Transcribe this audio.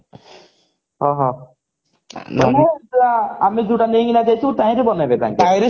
ଓହୋ ମାନେ ଆମେ ଯଉଟା ନେଇକିନା ଯାଇଥିବୁ ତାହିଁରେ ବନେଇବେ